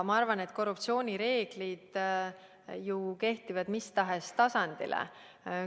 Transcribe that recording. Ma arvan, et korruptsioonireeglid kehtivad mis tahes tasandil.